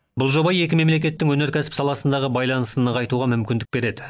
бұл жоба екі мемлекеттің өнеркәсіп саласындағы байланысын нығайтуға мүмкіндік береді